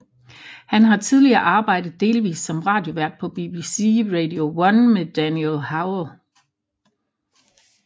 Han har tidligere arbejdet delvist som radiovært på BBC Radio 1 med Daniel Howell